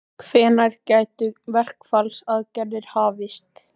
Hvenær gætu verkfallsaðgerðir hafist?